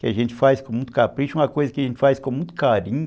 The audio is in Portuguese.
Que a gente faz com muito capricho, uma coisa que a gente faz com muito carinho.